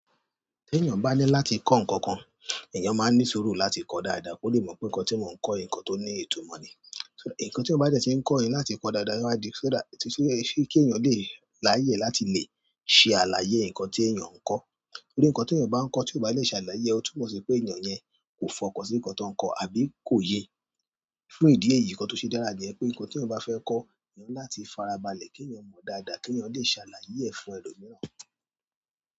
Tí èèyàn bá ní láti kọ́ nǹkan kan, èèyàn máa ní sùúrù láti kọ́ dáadáa kó le mọ̀ pé nǹkan tí mò ń kọ́ nǹkan tó ní ìtumọ̀ ni. Ǹkan tí ó bá jẹ́ tí ń kọ́ ẹni láti kọ dáadáa níwájú, ṣé dá, ṣé ṣé kí èèyàn lè láyè láti lè ṣe àlàyé ǹkan tí èèyàn ń kọ́. Nítorí ǹkan tí èèyàn bá ń kọ́ tí ò bá lè ṣàlàyé ọ̀ tú mọ̀ sí pé èèyàn yẹn kò fọkàn sí ǹkan tó ń kọ́ àbí kò yé. Fún ìdí èyí ǹkan tó ṣe dára jẹ́ pé ǹkan tí ò ń bá fẹ́ kọ́, èèyàn ni láti farabalẹ̀ kí ẹ̀yan mọ̀ dáadáa kí ẹ̀yan lè ṣàlàyé ẹ̀ fún ẹlòmíràn.